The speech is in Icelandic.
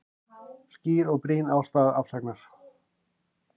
Skýr og brýn ástæða afsagnar